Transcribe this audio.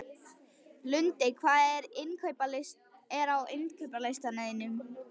Lundi, hvað er á innkaupalistanum mínum?